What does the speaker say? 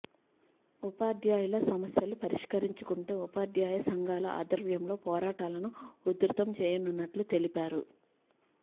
ఉపాధ్యాయుల సమస్యలు పరిష్కరించకుంటే ఉపాధ్యాయ సంఘాల ఆధ్వర్యంలో పోరాటాలను ఉధృతం చేయనున్నట్టు తెలిపారు